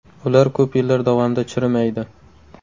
Ular ko‘p yillar davomida chirimaydi.